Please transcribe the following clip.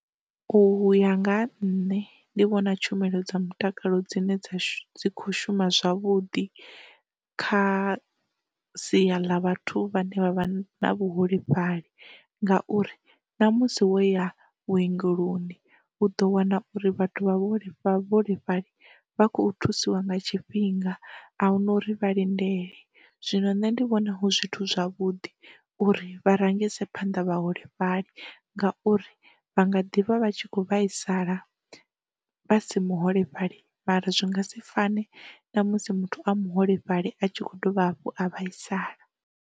U ya nga ha nṋe ndi vhona tshumelo dza mutakalo dzine dza khou shuma zwavhuḓi kha sia ḽa vhathu vhane vha vha na vhuholefhali ngauri, ṋamusi wo ya vhu ongeloni u ḓo wana uri vhathu vha vhuholefha vhaholefhali vha khou thusiwa nga tshifhinga ahuna uri vha lindele, zwino nṋe ndi vhona hu zwithu zwavhuḓi uri vha rengise phanḓa vhaholefhali ngauri vha nga ḓivha vha tshi kho vhaisala vha si muholefhali mara zwi nga si fani na musi muthu a muholefhali a tshi kho dovha hafhu a vhaisala.